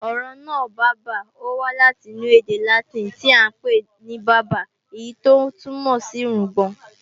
Ọ̀rọ̀ náà, bábà, ó wá láti inú ède Látìnì tíì à ń pè ní "barba" èyí tó túmọ̀ sí irungbọ̀n